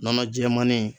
Nɔnɔ jɛmannin